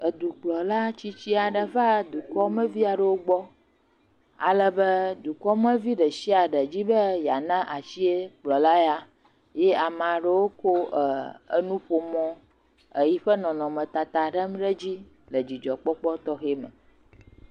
Edukplɔla tsitsi aɖe va ɖukɔmeviaɖewo gbɔ alebe dukɔmevi ɖe sia ɖe be ya na asi kplɔla ya eye ame aɖe kɔ nuƒomɔ nɔ eƒe nɔnɔ tata ɖam ɖe edzi le dzidzɔ kpɔkpɔ tɔxɛ me.